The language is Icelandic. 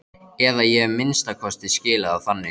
Eða ég hef að minnsta kosti skilið það þannig.